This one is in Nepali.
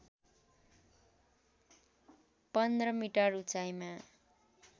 १५ मिटर उचाइमा